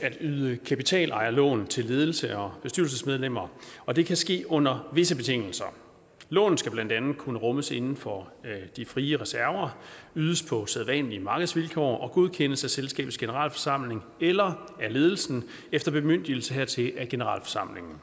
at yde kapitalejerlån til ledelse og bestyrelsesmedlemmer og det kan ske under visse betingelser lånet skal blandt andet kunne rummes inden for de frie reserver ydes på sædvanlige markedsvilkår og godkendes af selskabets generalforsamling eller af ledelsen efter bemyndigelse hertil af generalforsamlingen